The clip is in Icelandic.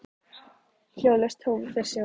Þeir fóru af baki þegar þangað kom.